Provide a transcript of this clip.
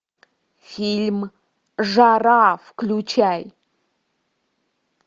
фильм жара включай